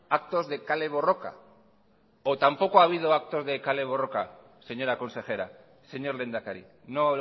actos de kale borroka o tampoco ha habido actos de kale borroka señora consejera señor lehendakari no